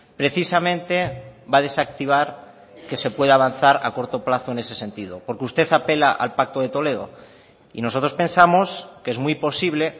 precisamente va a desactivar que se pueda avanzar a corto plazo en ese sentido porque usted apela al pacto de toledo y nosotros pensamos que es muy posible